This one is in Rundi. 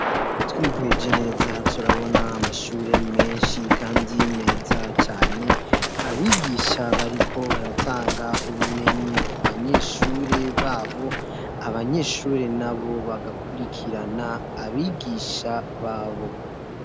Twiheje neza turabona amashure menshi kandi meza cane, abigisha bariko baratanga ubumenyi ku banyeshure babo, abanyeshure nabo bagakurikirana abigisha babo.